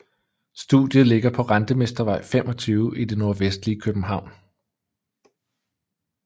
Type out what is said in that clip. Studiet ligger på Rentemestervej 25 i det nordvestlige København